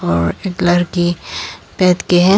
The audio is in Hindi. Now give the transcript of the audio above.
और एक लरकी बैठ के हैं।